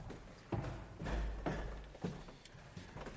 ja det